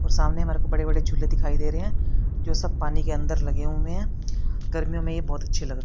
और सामने मेरे को बड़े बड़े झूले दिखाई दे रहे हैं जो सब पानी के अंदर लगे हुए हैं गर्मियों मे ये बहुत अच्छे लग--